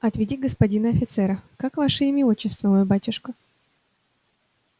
отведи господина офицера как ваше имя и отчество мой батюшка